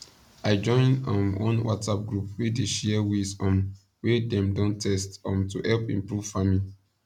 i join um one whatsapp group wey dey share ways um wey dem don test um to help improve farming